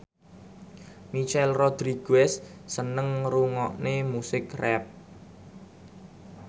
Michelle Rodriguez seneng ngrungokne musik rap